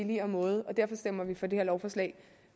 billigere måde og derfor stemmer man for det her lovforslag